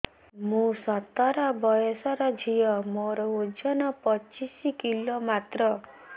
ମୁଁ ସତର ବୟସର ଝିଅ ମୋର ଓଜନ ପଚିଶି କିଲୋ ମାତ୍ର